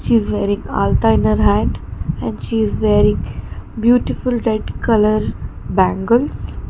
she is wearing alta in her hand and she is wearing beautiful red colour bangles.